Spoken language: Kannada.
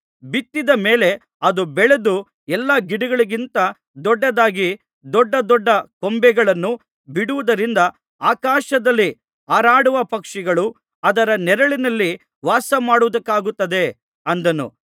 ಬಿತ್ತಿದ ಮೇಲೆ ಅದು ಬೆಳೆದು ಎಲ್ಲಾ ಗಿಡಗಳಿಗಿಂತ ದೊಡ್ಡದಾಗಿ ದೊಡ್ಡದೊಡ್ಡ ಕೊಂಬೆಗಳನ್ನು ಬಿಡುವುದರಿಂದ ಆಕಾಶದಲ್ಲಿ ಹಾರಾಡುವ ಪಕ್ಷಿಗಳು ಅದರ ನೆರಳಿನಲ್ಲಿ ವಾಸಮಾಡುವುದಕ್ಕಾಗುತ್ತದೆ ಅಂದನು